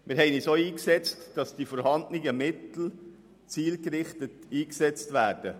Wir haben uns ebenfalls dafür eingesetzt, dass die vorhandenen Mittel zielgerichtet verwendet werden.